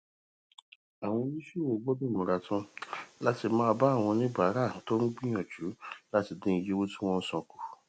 àwọn oníṣòwò gbódò múra tán láti bá àwọn oníbàárà tó ń gbìyànjú láti dín iye tí wón ń san kù